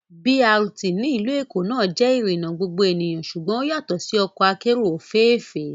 BRT ní ìlú Èkó náà jẹ́ ìrìnà gbogbo ènìyàn ṣùgbọ́n ó yàtọ̀ sí ọkọ akérò òféèfé